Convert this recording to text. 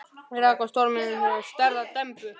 Þá rak á stormhrinu með stærðar dembu.